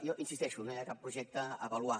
jo hi insisteixo no hi ha cap projecte a avaluar